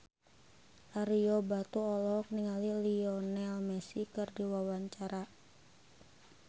Ario Batu olohok ningali Lionel Messi keur diwawancara